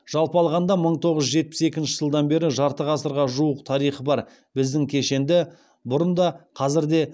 жалпы алғанда мың тоғыз жүз жетпіс екінші жылдан бері жарты ғасырға жуық тарихы бар біздің кешенді бұрын да қазір де